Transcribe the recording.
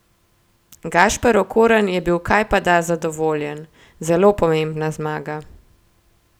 Gašper Okorn je bil kajpada zadovoljen: "Zelo pomembna zmaga.